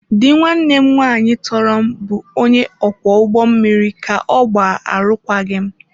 Di nwanne m nwanyị tọrọ m bụ onye ọkwọ ụgbọ mmiri ka ọ gbaa arụkwaghịm.